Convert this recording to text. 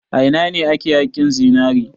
A ina ne ake haƙin zinare?